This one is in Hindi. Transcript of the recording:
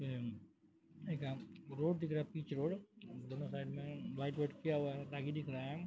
ये एगत रोड दिख रहा पिच रोड दोनों साइड में वाइट किया हुआ दागी दिख रहा।